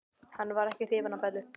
Hann var ekki hrifinn af Bellu.